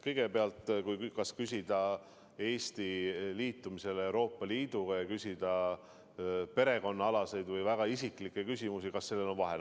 Kõigepealt, kas küsida Eesti liitumise kohta Euroopa Liiduga või küsida perekonnaalaseid või väga isiklikke küsimusi – kas sellel on vahet?